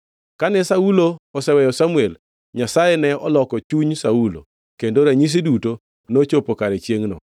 Kane Saulo oseweyo Samuel, Nyasaye ne oloko chuny Saulo, kendo ranyisi duto nochopo kare chiengʼno.